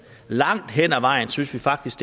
langt hen ad vejen synes vi faktisk